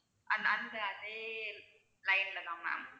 அந்த அந்த அதே line லதான் ma'am.